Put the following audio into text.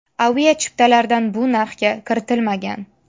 Avia chiptalardan bu narxga kiritilmagan.